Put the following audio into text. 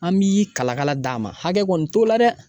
An bi kalakala d'a ma hakɛ kɔni t'o la dɛ.